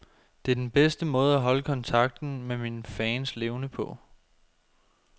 Det er den bedste måde at holde kontakten med mine fans levende på.